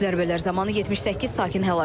Zərbələr zamanı 78 sakin həlak olub.